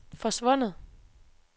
forsvundet